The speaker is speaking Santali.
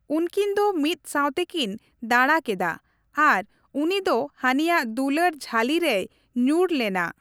ᱩᱱᱠᱤᱱ ᱫᱚ ᱢᱤᱫᱥᱟᱶ ᱛᱮᱠᱤᱱ ᱫᱟᱲᱟ ᱠᱮᱫᱟ ᱟᱨ ᱩᱱᱤ ᱫᱚ ᱦᱟᱱᱤᱭᱟᱜ ᱫᱩᱞᱟᱹᱲ ᱡᱷᱟᱹᱞᱤ ᱨᱮᱭ ᱧᱩᱨ ᱞᱮᱱᱟ ᱾